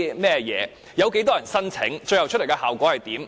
計劃有多少人申請，最終的效果為何？